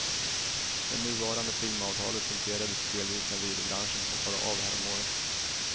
Det nuvarande filmavtalet punkterades delvis när videobranschen hoppade av häromåret.